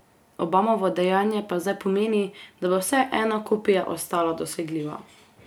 Obamovo dejanje pa zdaj pomeni, da bo vsaj ena kopija ostala dosegljiva.